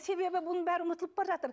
себебі оның бәрі ұмытылып бара жатыр